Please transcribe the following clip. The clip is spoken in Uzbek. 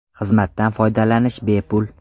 Xizmatdan foydalanish bepul.